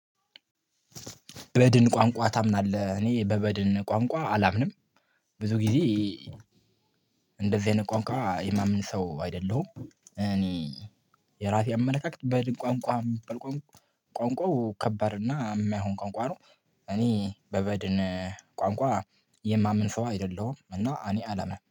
በድን ቋንቋ ታምናለህ? እኔ በበድን ቋንቋ አላምንም። ብዙ ጊዜ አይነት ቋንቋ የማምን ሰው አይደለሁም። እኔ የራሴ አመለካከት በድን ቋንቋ የሚበል ቋንቋው ከባድና የሚያሆን ቋንቋ ነው። እኔ በበድን ቋንቋ የማምን ሰው አይደለሁም። እና እኔ አላምንም